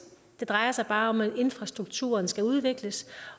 det drejer sig bare om at infrastrukturen skal udvikles